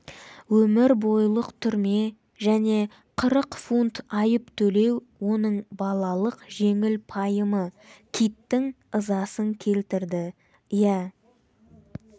өмір бойлық түрме және қырық фунт айып төлеу оның балалық жеңіл пайымы киттің ызасын келтірді иә